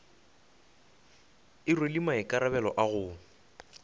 e rwele maikarabelo a go